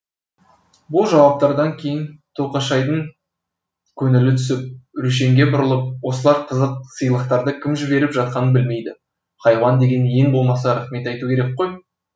бұл жауаптардан кейін тоқашайдың көңілі түсіп рүшенге бұрылып осылар қызық сыйлықтарды кім жіберіп жатқанын білмейді хайуан деген ең болмаса рахмет айту керек қой